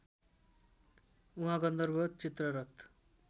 उहाँ गन्धर्व चित्ररथ